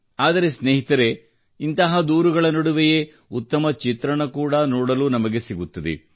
ಆದರೆ ಸ್ನೇಹಿತರೇ ಇಂತಹ ದೂರುಗಳ ನಡುವೆಯೇ ಉತ್ತಮ ಚಿತ್ರಣ ಕೂಡಾ ನೋಡಲುನಮಗೆ ಸಿಗುತ್ತಿದೆ